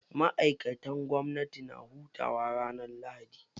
Ma'aikatan gwamnati na hutawa ranar lahadi.